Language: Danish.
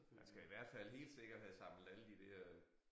Man skal i hvert fald helt sikkert have samlet alle de der